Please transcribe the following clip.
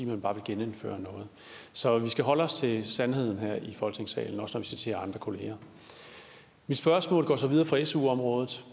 man bare vil genindføre noget så vi skal holde os til sandheden her i folketingssalen også når citerer andre kolleger mit spørgsmål går så videre fra su området